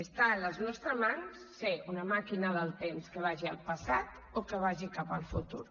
està a les nostres mans ser una maquina del temps que vagi al passat o que vagi cap al futur